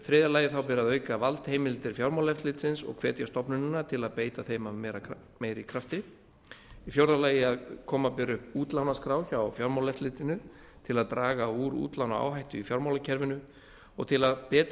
þriðja auka ber valdheimildir fjármálaeftirlitsins og hvetja stofnunina til að beita þeim af meiri krafti fjórða koma ber upp útlánaskrá hjá fjármálaeftirlitinu til að draga úr útlánaáhættu í fjármálakerfinu og til að betri